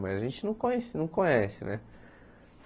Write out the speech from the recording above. Mas a gente não conhece não conhece, né?